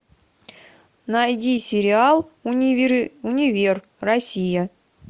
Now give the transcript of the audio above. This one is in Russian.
найди сериал универ россия